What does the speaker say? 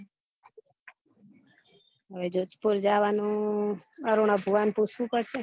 હવે જોધપૂર જાવાનું અરુણા ભુવા ને પૂછવું પડશે